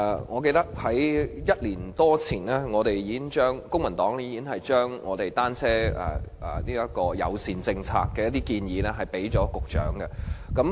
我記得在1年多前，公民黨已經向局長提交一些有關單車友善政策的建議。